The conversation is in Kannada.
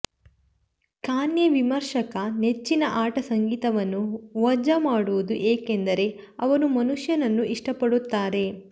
ಕಾನ್ಯೆ ವಿಮರ್ಶಕರ ನೆಚ್ಚಿನ ಆಟ ಸಂಗೀತವನ್ನು ವಜಾ ಮಾಡುವುದು ಏಕೆಂದರೆ ಅವರು ಮನುಷ್ಯನನ್ನು ಇಷ್ಟಪಡುತ್ತಾರೆ